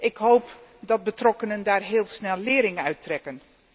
Ik hoop dat de betrokkenen daar heel snel lering uit trekken.